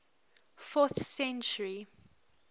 fourth century